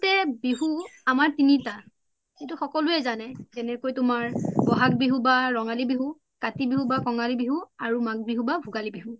সাধাৰণতে বিহু আমাৰ তিনিতা সৈতু সকলোযে জানে জেনেকোই তুমাৰ বহাগ বিহু বা ৰঙালী বিহু, কাতি বিহু বা কঙালী বিহু আৰু মাঘ বিহু বা ভুগালি বিহু